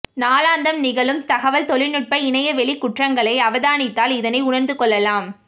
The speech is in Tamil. நாளாந்தம் நிகழும் தகவல் தொழில்நுட்ப இணையவெளிக் குற்றங்களை அவதானித்தால் இதனை உணர்ந்து கொள்ளலாம்